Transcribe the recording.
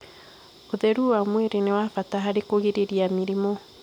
Ũtherũ wa mwĩrĩ nĩ wa bata harĩ kũgirĩrĩria mĩrimũ